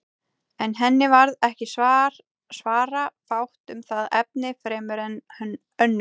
En henni varð ekki svara fátt um það efni fremur en önnur.